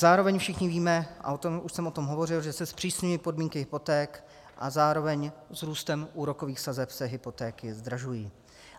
Zároveň všichni víme, a už jsem o tom hovořil, že se zpřísňují podmínky hypoték a zároveň s růstem úrokových sazeb se hypotéky zdražují.